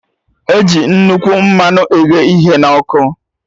Eji nnukwu mmanụ eghe ihe na ọkụ